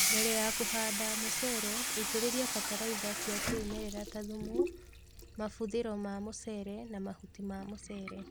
Mbele ya kũhanda mũcere, itĩrĩlia batalaitha cia kĩmerela ta thumu, mabuthĩro ma mũcere na mahuti ma mucere